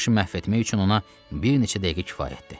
Başı məhv etmək üçün ona bir neçə dəqiqə kifayətdir.